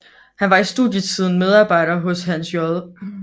Han var i studietiden medarbejder hos Hans J